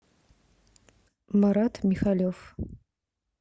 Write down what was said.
марат михалев